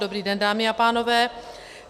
Dobrý den, dámy a pánové.